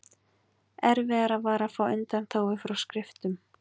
erfiðara var að fá undanþágu frá skriftum